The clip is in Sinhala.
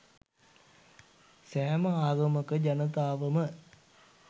සෑම ආගමක ජනතාවම